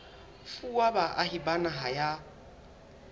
fuwa baahi ba naha ya